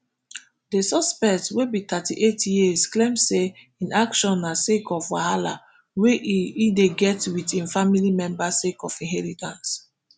di suspect wey be thirty-eight years claim say im action na sake of wahala wey e e dey get wit im family members sake of inheritance